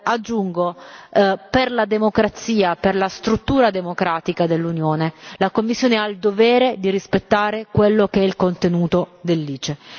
Aggiungo, per la democrazia, per la struttura democratica dell'Unione, la Commissione ha il dovere di rispettare quello che è il contenuto dell'ICE.